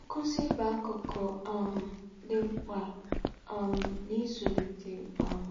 Nkuzi bụ akụkụ um dị mkpa um n'ịzụlite um